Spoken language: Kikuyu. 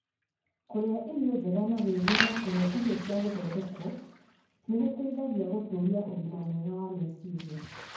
Kũrĩa irio njega na gwĩthema kũrĩa irio cia gũthondekwo nĩ gũteithagia gũtũũria ũgima mwega wa meciria.